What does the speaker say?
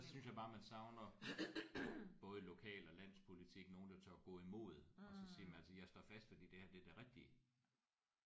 Ja der synes jeg bare man savner både i lokal og landspolitik nogen der tør gå i mod og så sige jamen altså jeg står fast fordi det her er det rigtige